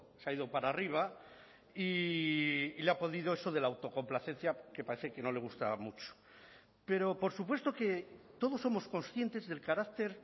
se ha ido para arriba y le ha podido eso de la autocomplacencia que parece que no le gustaba mucho pero por supuesto que todos somos conscientes del carácter